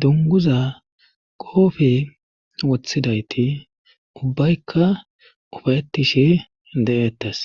dunguza goofe wothidayti ubbaykka ufayettishi de7ettes